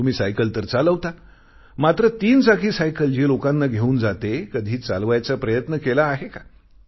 तुम्ही सायकल तर चालवता मात्र तीन चाकी सायकल जी लोकांना घेऊन जाते कधी चालवायचा प्रयत्न केला आहे का